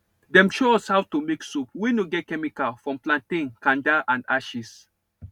dem show us how to make soap wey no get chemical from plantain kanda and ashes